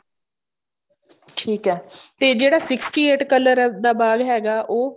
ਠੀਕ ਐ ਤੇ ਜਿਹੜਾ sixty eight color ਦਾ ਬਾਗ ਹੈਗਾ ਉਹ